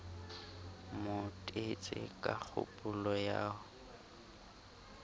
mo tetse ka kgopolo ya